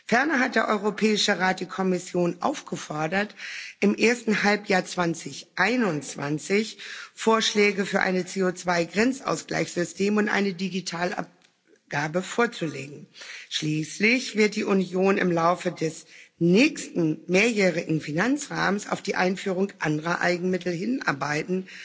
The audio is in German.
Ferner hat der Europäische Rat die Kommission aufgefordert, im ersten Halbjahr 2021 Vorschläge für ein CO2 Grenzausgleichssystem und eine Digitalabgabe vorzulegen. Schließlich wird die Union im Laufe des nächsten mehrjährigen Finanzrahmens auf die Einführung anderer Eigenmittel hinarbeiten,